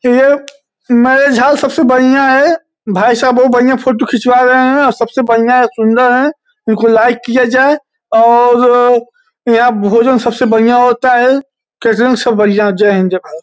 ये marriage house सबसे बड़िया (बढ़िया) हैं। भाई साहब बहुत बड़िया (बढ़िया) फ़ोटो खिचवा रहे हैं और सबसे बड़िया (बढ़िया) है सुंन्दर है। इनको लाइक किया जाये और यहाँ भोजन सबसे बड़िया (बढ़िया) होता हैं। केटरिंग सब बढ़िया जय हिन्द जय भारत।